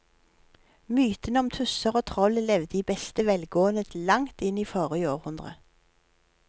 Mytene om tusser og troll levde i beste velgående til langt inn i forrige århundre.